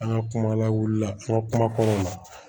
An ka kuma lawulila an ka kuma kɔnɔnaw na